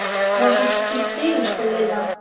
Var hann í stríðinu? spurði Lilla.